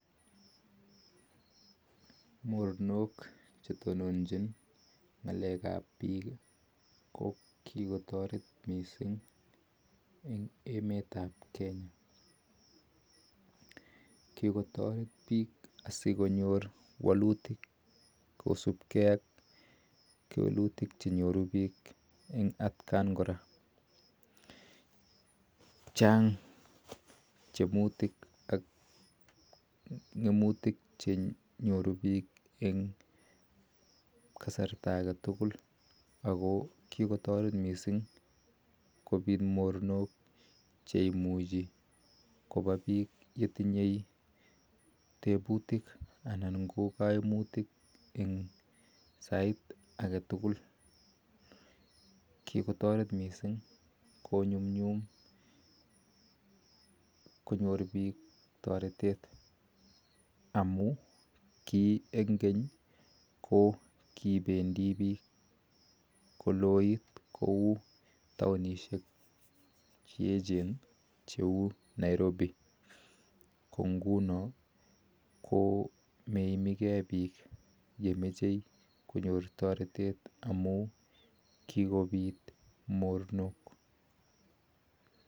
Moronook chetononchiin ngaleek ap piik kokikotareet piik asikonyoor walutik kosupkee ak kewelutik chenyoruu piik eng atyeen koraa chaang tugun chenyoruu piik ak kikotareet mising konyumnyum konyor piik taretet amun eng keny missing ko kipendii piik taonisheek cheloween komachee taritisheeet